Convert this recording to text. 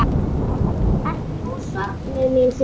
Ertu nú sofnuð, mín systir!